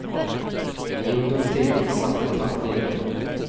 I ungdomstiden satt de trangt i det.